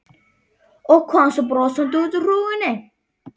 Og kom svo brosandi út úr hrúgunni.